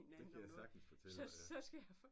Det kan jeg sagtens fortælle dig da